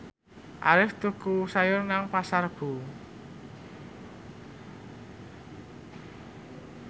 Arif tuku sayur nang Pasar Rebo